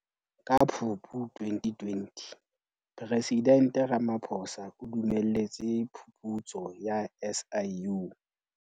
Ka Phupu 2020, Presidente Ramaphosa o dumelletse phuputso ya SIU.